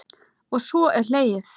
Og svo er hlegið.